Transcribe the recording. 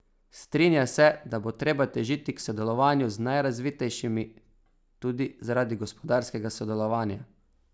Strinja se, da bo treba težiti k sodelovanju z najrazvitejšimi, tudi zaradi gospodarskega sodelovanja.